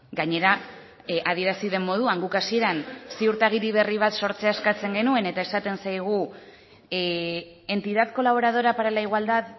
gainera adierazi den moduan guk hasieran ziurtagiri berri bat sortzea eskatzen genuen eta esaten zaigu entidad colaboradora para la igualdad